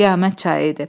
Qiyamət çayı idi.